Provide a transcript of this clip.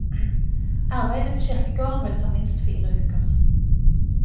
Arbeidet på kirkegården vil ta minst fire uker.